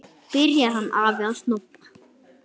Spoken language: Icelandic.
Byrjar hann afi að snobba!